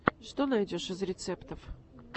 что найдешь из рецептов